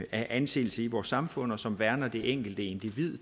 anseelse i vores samfund og som værner det enkelte individ